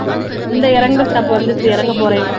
இந்த இறங்குற stop வந்துருச்சு இறங்க போறேன்